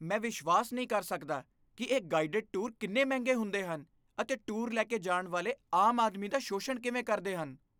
ਮੈਂ ਵਿਸ਼ਵਾਸ ਨਹੀਂ ਕਰ ਸਕਦਾ ਕਿ ਇਹ ਗਾਈਡਡ ਟੂਰ ਕਿੰਨੇ ਮਹਿੰਗੇ ਹੁੰਦੇ ਹਨ ਅਤੇ ਟੂਰ ਲੈਕੇ ਜਾਣ ਵਾਲੇ ਆਮ ਆਦਮੀ ਦਾ ਸ਼ੋਸ਼ਣ ਕਿਵੇਂ ਕਰਦੇ ਹਨ।